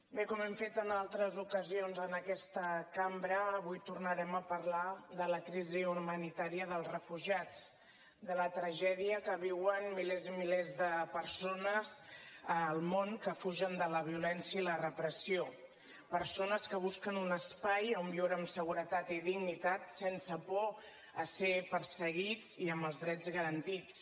bé com hem fet en altres ocasions en aquesta cambra avui tornarem a parlar de la crisi humanitària dels refugiats de la tragèdia que viuen milers i milers de persones al món que fugen de la violència i la repressió persones que busquen un espai on viure amb seguretat i dignitat sense por a ser perseguides i amb els drets garantits